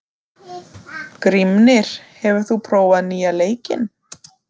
Grímnir, hefur þú prófað nýja leikinn?